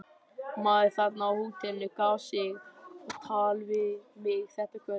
Maður þarna á hótelinu gaf sig á tal við mig þetta kvöld.